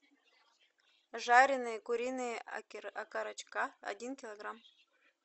жареные куриные окорочка один килограмм